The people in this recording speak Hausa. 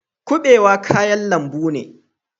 Kubewa kayan lambu ne.